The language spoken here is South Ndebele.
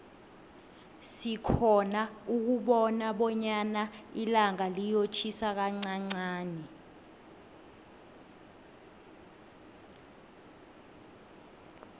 sikhona ukubona bonyana ilanga liyotjhisa kanqanqani